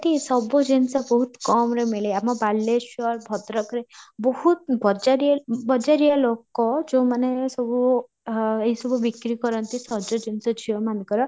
ସେଇଠି ସବୁ ଜିନିଷ ବହୁତ କମରେ ମିଳେ ଆମ ବାଲେଶ୍ୱର ଭଦ୍ରକରେ ବହୁତ ବଜାରିଆ ବଜାରିଆ ଲୋକ ଯାଉ ମାନେ ସବୁ ଅଃ ଏଇ ସବୁ ବିକ୍ରି କରନ୍ତି ସଜ ଜିନିଷ ଝିଅ ମାନଙ୍କର